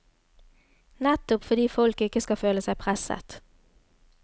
Nettopp fordi folk ikke skal føle seg presset.